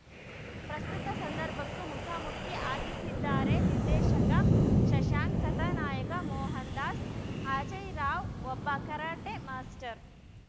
ಪ್ರಸ್ತುತ ಸಂದರ್ಭಕ್ಕೂ ಮುಖಾ ಮುಖಿ ಆಗಿಸಿದ್ದಾರೆ ನಿರ್ದೇಶಕ ಶಶಾಂಕ್‌ ಕಥಾ ನಾಯಕ ಮೋಹನ್‌ ದಾಸ್‌ಅಜಯ್‌ರಾವ್‌ಒಬ್ಬ ಕರಾಟೆ ಮಾಸ್ಟರ್‌